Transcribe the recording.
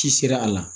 Ci sera a la